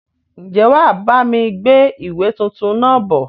Ń jẹ́ wá bami gbé ìwé tuntun náà bọ̀?